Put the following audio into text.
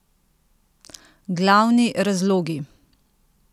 Glavni razlogi?